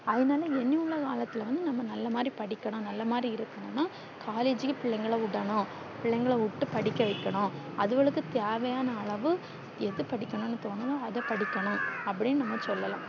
அவனால ஏன்னியுள்ள காலத்துள்ள வந்து நல்ல மாறி படிக்கணும் நல்ல மாறி இருக்குனுன்னா collage க்கு பிள்ளைகள விடன்னும் பிள்ளைகள விட்டு படிக்க வைகன்னும் அதுவோளுக்கு தேவையான அளவு எது படிக்கணும் தோணுதோ அத படிக்கணும் அப்டி நம்ம சொல்லல்லாம்